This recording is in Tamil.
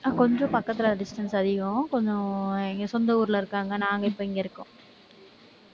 கொஞ்சம் பக்கத்துல distance அதிகம். கொஞ்சம், எங்க சொந்த ஊர்ல இருக்காங்க. நாங்க இப்ப இங்க இருக்கோம்